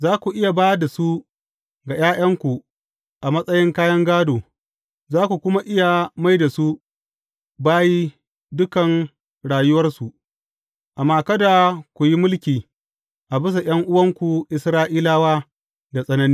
Za ku iya ba da su ga ’ya’yanku a matsayin kayan gādo, za ku kuma iya mai da su bayi dukan rayuwarsu, amma kada ku yi mulki a bisa ’yan’uwanku Isra’ilawa da tsanani.